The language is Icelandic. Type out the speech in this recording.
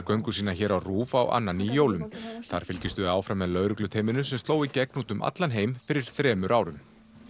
göngu sína hér á RÚV á annan í jólum þar fylgjumst við áfram með lögregluteyminu sem sló í gegn um allan heim fyrir þremur árum